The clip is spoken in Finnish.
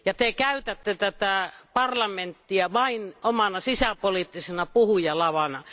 Te käytätte tätä parlamenttia vain omana sisäpoliittisena puhujalavana.